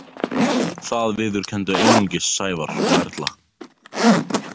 Það viðurkenndu einungis Sævar og Erla.